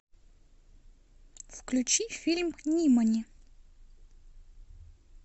включи фильм нимани